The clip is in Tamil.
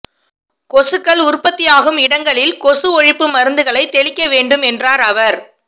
கொசுக்கள் உற்பத்தியாகும் இடங்களில் கொசு ஒழிப்பு மருந்துகளைத் தெளிக்க வேண்டும் என்றார் அவர்